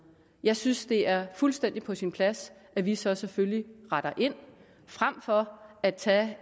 jeg synes at det er fuldstændig på sin plads at vi så selvfølgelig retter ind frem for at tage